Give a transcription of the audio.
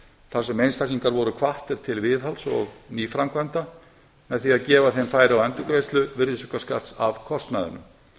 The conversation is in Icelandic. þar sem einstaklingar voru hvattir til viðhalds og nýframkvæmda með því að gefa þeim færi á endurgreiðslu virðisaukaskatts af kostnaðinum